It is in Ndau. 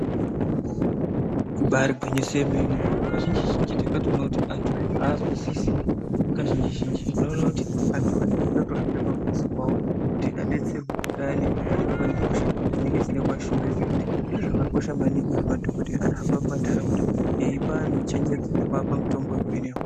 Ibaari gwinyiso yemene , kazhinji zhinji takatoona kuti antu aazwisisi kazhinji zhinji , tinoona kuti antu anonga eitode kutohambirwa pamuzi pawo kuti adetserwe payani panenge pane hosha dzinenge dzeida kuvashungurudza kuti zviro zvakakosha maningi kuti madhokodheya anohamba mumandaraunda eipa antu chenjedzo nekuapa mitombo yekupedza hosha.